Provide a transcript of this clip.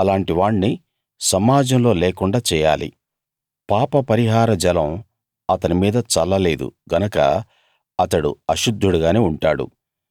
అలాంటి వాణ్ణి సమాజంలో లేకుండా చేయాలి పాపపరిహార జలం అతని మీద చల్ల లేదు గనక అతడు అశుద్ధుడుగానే ఉంటాడు